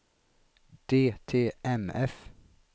DTMF